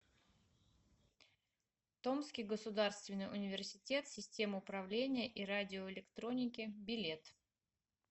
томский государственный университет систем управления и радиоэлектроники билет